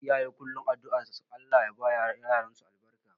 Iyaye kullum addu'ar su Allah ya ma yaransu albarka